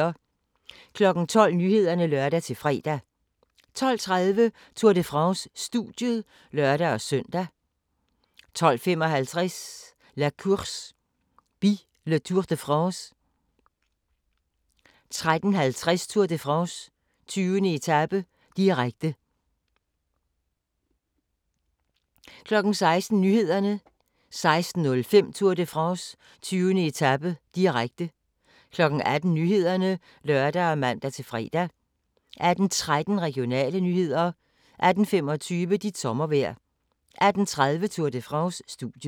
12:00: Nyhederne (lør-fre) 12:30: Tour de France: Studiet (lør-søn) 12:55: La Course By le Tour de France 13:50: Tour de France: 20. etape, direkte 16:00: Nyhederne 16:05: Tour de France: 20. etape, direkte 18:00: Nyhederne (lør og man-fre) 18:13: Regionale nyheder 18:25: Dit sommervejr 18:30: Tour de France: Studiet